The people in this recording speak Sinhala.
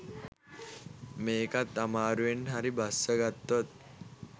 මේකත් අමාරුවෙන් හරි බස්සගත්තොත්